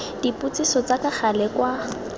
dipotsiso tsa ka gale kwa